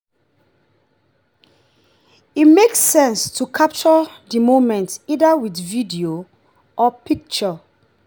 e make sense to capture di moment either with video or picture